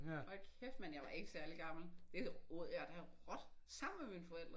Hold kæft mand jeg var ikke særlig gammel. Det åd jeg da råt. Sammen med mine forældre